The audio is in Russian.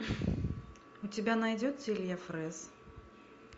у тебя найдется илья фрэз